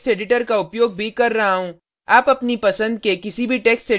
मैं gedit text editor का उपयोग भी कर रहा हूँ